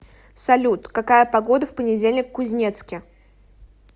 салют какая погода в понедельник в кузнецке